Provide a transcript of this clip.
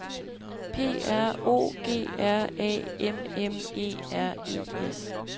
P R O G R A M M E R E S